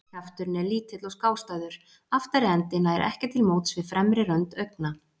Kjafturinn er lítill og skástæður, aftari endi nær ekki á móts við fremri rönd augna.